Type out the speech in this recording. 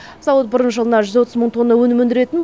зауыт бұрын жылына жүз отыз мың тонна өнім өндіретін